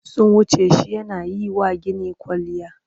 Sun wuce shi yana yi wa gini kwalliya.